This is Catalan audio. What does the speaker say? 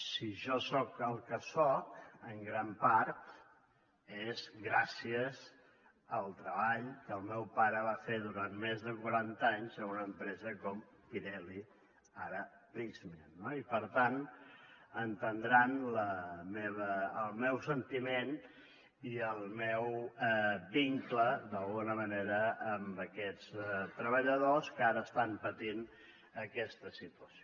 si jo soc el que soc en gran part és gràcies al treball que el meu pare va fer durant més de quaranta anys en una empresa com pirelli ara prysmian no i per tant entendran el meu sentiment i el meu vincle d’alguna manera amb aquests treballadors que ara estan patint aquesta situació